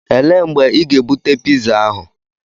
Elee mgbe ị ga-ebute piza ahu?